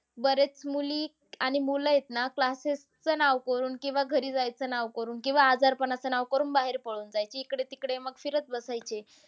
बरेच मुली आणि मुलं आहेत ना, classes च नाव करून. किंवा घरी जायचं नाव करून. किंवा आजारपणाचं नाव करून बाहेर पळून जायचे. इकडे-तिकडे मग फिरत बसायचे